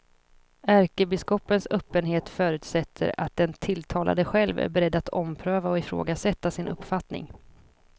Ärkebiskopens öppenhet förutsätter att den tilltalade själv är beredd att ompröva och ifrågasätta sin uppfattning.